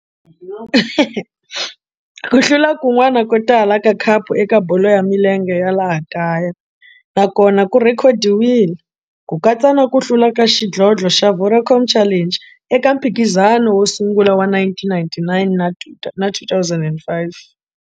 Ku hlula kun'wana ko tala ka khapu eka bolo ya milenge ya laha kaya na kona ku rhekhodiwile, ku katsa na ku hlula ka xidlodlo xa Vodacom Challenge eka mphikizano wo sungula wa 1999 na 2005.